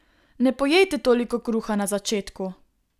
Ne pojejte toliko kruha na začetku!